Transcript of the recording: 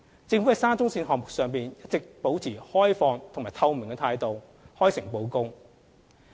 政府在沙中線項目上，一直保持開放和透明的態度，開誠布公。